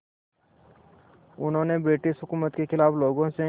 उन्होंने ब्रिटिश हुकूमत के ख़िलाफ़ लोगों से